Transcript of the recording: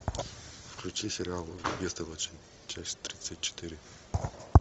включи сериал бестолочи часть тридцать четыре